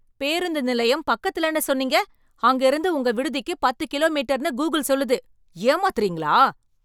பேருந்து நிலையம் பக்கத்துல சொன்னீங்க, அங்க இருந்து உங்க விடுதிக்கு பத்து கிலோமீட்டர்னு கூகிள் சொல்லுது. ஏமாத்தறீங்களா?